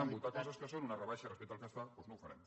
votar coses que són una rebaixa respecte al que es fa doncs no ho farem